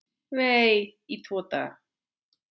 Vei, í tvo daga!